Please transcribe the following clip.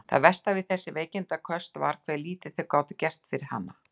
Það versta við þessi veikindaköst var hve lítið þau gátu gert fyrir hana.